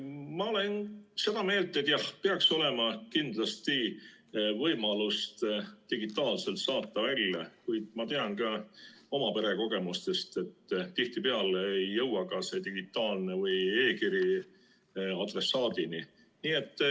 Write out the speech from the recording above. Ma olen seda meelt, et peaks olema kindlasti võimalus digitaalselt saata, kuid ma tean ka oma pere kogemustest, et tihtipeale ei jõua see digitaalne või e-kiri adressaadini.